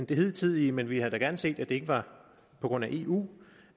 det hidtidige men vi havde da gerne set at det ikke var på grund af eu